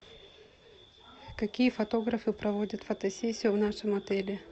какие фотографы проводят фотосессию в нашем отеле